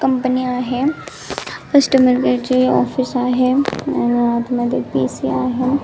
Company आहे customer care चे office आहे अन आत मध्ये पी.सी. आहे.